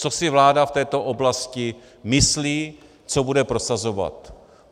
Co si vláda v této oblasti myslí, co bude prosazovat.